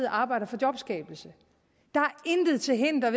arbejder for jobskabelse der er intet til hinder